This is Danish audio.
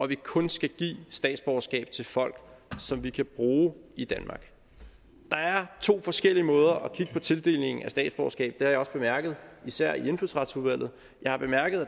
vi kun skal give statsborgerskab til folk som vi kan bruge i danmark der er to forskellige måder at kigge på tildelingen af statsborgerskab har jeg også bemærket at der især i indfødsretsudvalget